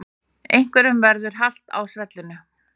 Einhverjum verður halt á svellinu